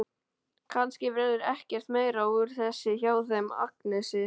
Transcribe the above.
Kannski verður ekkert meira úr þessu hjá þeim Agnesi.